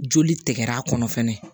Joli tɛgɛra kɔnɔ fɛnɛ